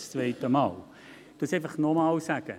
Ich sage es nochmals: